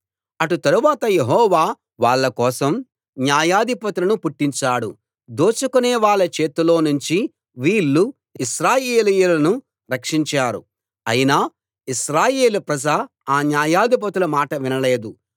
అటు తరువాత యెహోవా వాళ్ళ కోసం న్యాయాధిపతులను పుట్టించాడు దోచుకొనేవాళ్ళ చేతిలో నుంచి వీళ్ళు ఇశ్రాయేలీయులను రక్షించారు అయినా ఇస్రాయేల్ ప్రజ ఆ న్యాయాధిపతుల మాట వినలేదు